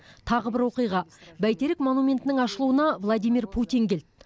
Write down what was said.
тағы бір оқиға бәйтерек монументінің ашылуына владимир путин келді